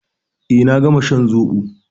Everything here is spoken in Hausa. Eh, na gama shan zobo.